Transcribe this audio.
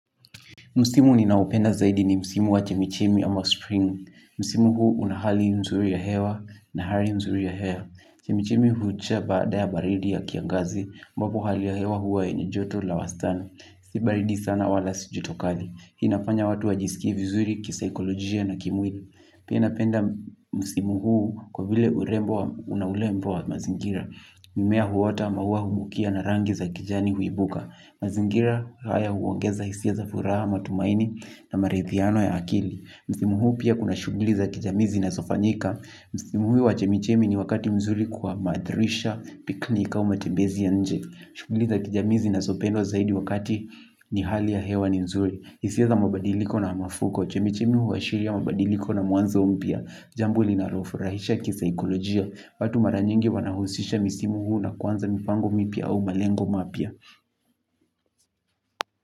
Msimu ninaopenda zaidi ni msimu wa chemi chemi ama spring. Msimu huu una hali nzuri ya hewa na hali nzuri ya hewa. Chemi chemi huja baada ya baridi ya kiangazi ambapo hali ya hewa huwa yenye joto la wastani. Si baridi sana wala si joto kali. Hii inafanya watu wajisikie vizuri kisaikolojia na kimwili. Pia napenda msimu huu kwa vile urembo una ule mvua wa mazingira. Mimea huoata maua hubukia na rangi za kijani huibuka. Mazingira haya huongeza hisia za furaha matumaini na marithiano ya akili. Misimu huu pia kuna shughuli za kijamii zinazofanyika. Misimu huu wa chemichemi ni wakati mzuri kwa madrisha, picnick au matembezi ya nje. Shughuli za kijamii zinazopendwa zaidi wakati ni hali ya hewa ni mzuri. Hisia za mabadiliko na mafuko. Chemichemi huashiria mabadiliko na mwanzo mpya. Jambo linalofurahisha kisaikolojia. Watu mara nyingi wanahusisha misimu huu na kuanza mipango mipya au malengo mapya.